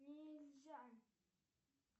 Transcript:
нельзя